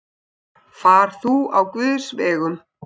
Far þú á Guðs vegum.